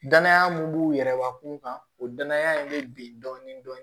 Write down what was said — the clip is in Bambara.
Danaya mun b'u yɛrɛbakun kan o danaya in bɛ bin dɔɔnin dɔɔnin